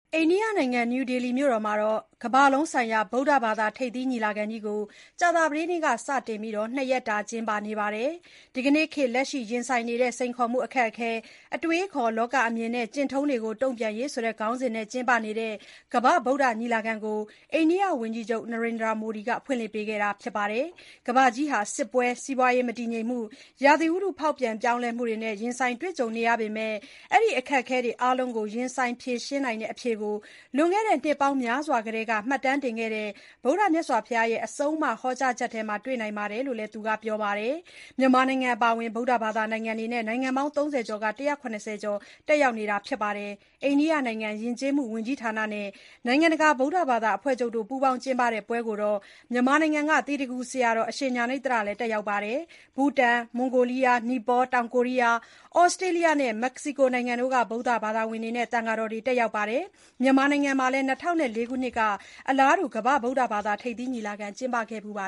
အိန္ဒိယနိုင်ငံ နယူးဒေလီမြို့မှာ ကမ္ဘာလုံးဆိုင်ရာ ဗုဒ္ဓဘာသာ ထိပ်သီး ညီလာခံကြီးကို ကြာသတေးနေ့က စတင်ပြီး ၂ ရက်ကြာကျင်းပနေပါတယ်။ ဒီနေ့ခေတ် လက်ရှိရင်ဆိုင်နေရတဲ့ စိတ်ခေါ်မှု အခက်အခဲ၊ အတွေးအခေါ် လောကအမြင်နဲ့ ကျင့်ထုံးတွေကို တုံပြန်ရေးဆိုတဲ့ ခေါင်းစဉ်နဲ့ ကျင်းပနေတဲ့ ကမ္ဘာ့ ဗုဒ္ဓညီလာခံကို အိန္ဒိယဝန်ကြီးချုပ် Narendra Modi ကဖွင့်လှစ်ပေးခဲ့တာပါ။ ကမ္ဘာဟာ စစ်ပွဲ၊ စီးပွားရေး မတည်ငြိမ်မှု၊ ရာသီဥတု ဖေါက်ပြန်ပြောင်းလဲမှုတွေကို ရင်ဆိုင်ကြုံတွေ့နေရပေမဲ့ ဒီအခက်အခဲတွေ အားလုံးကို ရင်ဆိုင်ဖြေရှင်းနိုင်တဲ့ အဖြေကို လွန်ခဲ့တဲ့ နှစ်ပေါင်းများစွာကတည်းက မှတ်တမ်းတင်ခဲ့ကြတဲ့ ဗုဒ္ဒဘုရားရဲ့ အဆုံးအမ ဟောကြားချက်တွေထဲမှာတွေ့နိုင်ပါတယ်လို့ သူကပြောကြားခဲ့ပါတယ်။ မြန်မာနိုင်ငံအပါအဝင် ဗုဒ္ဓဘာသာနိုင်ငံတွေနဲ့ နိုင်ငံပေါင်း ၃၀ လောက်က ၁၇၀ ကျော် ပါဝင်တက်ရောက်နေပါတယ်။ အိန္ဒိယနိုင်ငံ ယဉ်ကျေးမှု ဝန်ကြီးဌာနနဲ့ နိုင်ငံတကာ ဗုဒ္ဓဘာသာ အဖွဲ့ချုပ်တို့ ပူးပေါင်းကျင်းပတဲ့ပွဲကို မြန်မာနိုင်ငံက သီတဂူဆရာတော် အရှင်ဉာဏိဿရလည်း တက်ရောက်နေပါတယ်။ ဘူတန်၊ မွန်ဂိုလီးယား၊ နီပေါ၊ တောင်ကိုရီးယား၊ ဩစတေးလျနဲ့ မက္ကဆီကို နိုင်ငံတွေက ဗုဒ္ဓဘာသာဝင်တွေ၊ သံဃာတော်တွေလည်း တက်ရောက်ပါတယ်။ မြန်မာနိုင်ငံမှာလည်း ၂၀၀၄ ခုနှစ်က အလားတူ ကမ္ဘာ့ ဗုဒ္ဓဘာသာ ထိပ်သီး ညီလာခံကျင်းပခဲ့ဖူးပါ